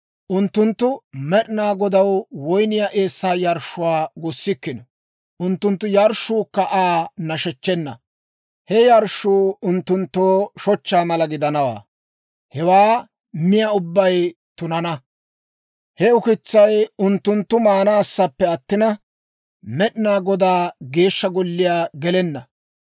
Unttunttu Med'inaa Godaw woyniyaa eessaa yarshshuwaa gussikkino; unttunttu yarshshuukka Aa nashechchena. He yarshshuu unttunttoo shochchaa mala gidanawaa; hewaa miyaa ubbay tunana. He ukitsay unttunttu maanaassappe attina, Med'inaa Godaa Geeshsha Golliyaa gelenna.